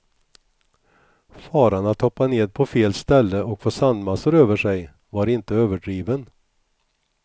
Faran att hoppa ned på fel ställe och få sandmassor över sig, var inte överdriven.